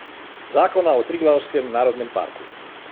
Zakona o Triglavskem narodnem parku.